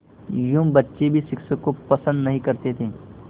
यूँ बच्चे भी शिक्षक को पसंद नहीं करते थे